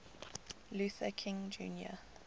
luther king jr